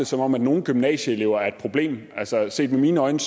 som om nogle gymnasieelever er et problem altså set med mine øjne